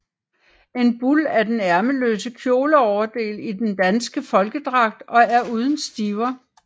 En bul er den ærmeløse kjoleoverdel i den danske folkedragt og er uden stiver